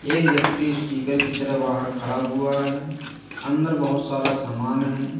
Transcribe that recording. एक व्यक्ति स्टीकर की तरफ बाहर खड़ा हुआ है अंदर बहोत सारा सामान है।